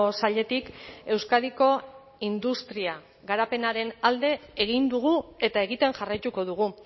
sailetik euskadiko industria garapenaren alde egin dugu eta egiten jarraituko dugu